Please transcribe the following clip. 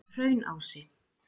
Hraunási